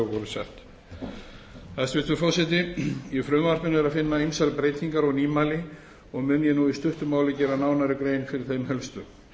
gildandi lög voru sett hæstvirtur forseti í frumvarpinu er að finna ýmsar breytingar og nýmæli og mun ég nú í stuttu máli gera nánari grein fyrir þeim helstu